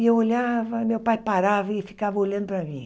E eu olhava, meu pai parava e ficava olhando para mim.